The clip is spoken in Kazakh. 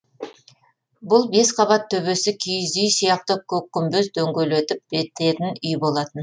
бұл бес қабат төбесі киіз үй сияқты көк күмбез дөңгелетіп бітетін үй болатын